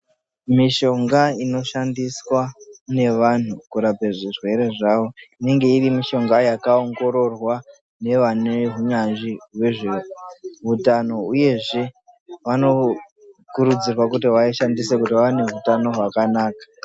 Mishonga inoshandiswa nevanhu kurapa zvirwere zvavo inenge iri mishonga yakaongororwa nevane unzvanzvi hwezveutano uyezve vanokurudzirwa kuti vaishandise kuti vaone hutano hwakanaka.